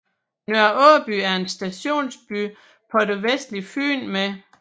Nørre Aaby er en stationsby på det vestlige Fyn med